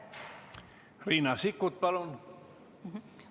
Riina Sikkut, palun!